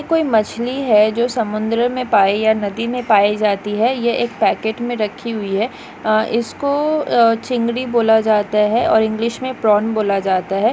कोई मछली है जो समुंद्र में पाये या नदी मे पाये जाती है ये एक पैकेट मे रखी हुई है इसको चिंगड़ी बोला जाता है और इंग्लिश मे प्रॉन बोला जाता है।